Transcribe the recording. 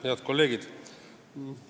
Head kolleegid!